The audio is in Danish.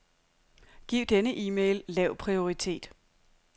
Giv denne e-mail lav prioritet.